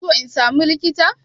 Kuna so in samu likita?